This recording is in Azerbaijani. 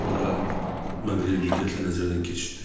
Sonra Maqreli diqqətlə nəzərdən keçirtdi.